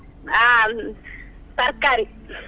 ಅಹ್ ತರ್ಕಾರಿ,